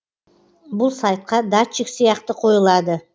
бұл сайтқа датчик сияқты қойылады